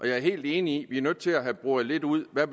jeg er helt enig i nødt til at have boret lidt ud hvad